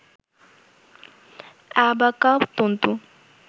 অ্যাবাকা তন্তু